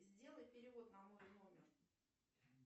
сделай перевод на мой номер